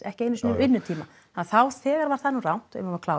ekki einu sinni vinnutíma þá þegar var það nú rangt